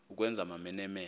ukwenza amamene mene